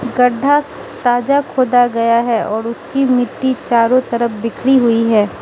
गढ्ढा ताजा खोदा गया है और उसकी मिट्टी चारों तरफ बिखरी हुई है।